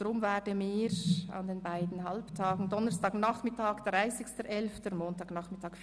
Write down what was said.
Deshalb werden wir an den beiden Halbtagen Donnerstagnachmittag, 30. November 2017, und Montagnachmittag